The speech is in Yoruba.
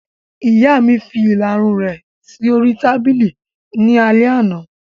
Ìyá mi fi ìlarun rẹ̀ sí oríi tábìlì ní alẹ́ àná